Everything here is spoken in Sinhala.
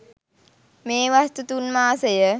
මේ වස්තු තුන් මාසය